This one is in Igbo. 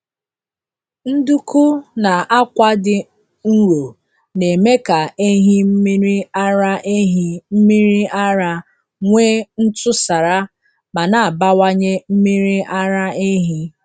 Nduku na akwa dị nro na-eme ka ehi mmiri ara ehi mmiri ara nwee ntụsara ma na-abawanye mmiri ara ehi.